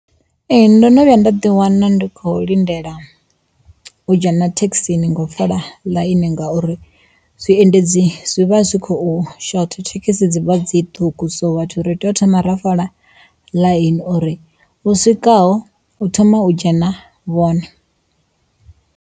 Ee ndo no vhuya nda ḓi wana ndi kho lindela u dzhena thekhisini ngo fola ḽaini ngauri zwiendedzi zwi vha zwi khou shotha thekhisi dzivha dzi ṱhukhu so vhathu ri tea u thoma ra fola ḽaini uri vho swikaho u thoma hu thome u dzhena vhone.